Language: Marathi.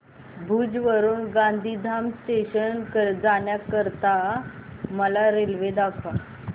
भुज वरून गांधीधाम जंक्शन जाण्या करीता मला रेल्वे दाखवा